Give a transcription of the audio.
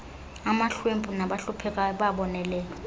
amahlwempu nabahluphekayo bayabonelelwa